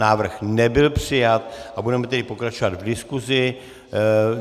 Návrh nebyl přijat a budeme tedy pokračovat v diskusi.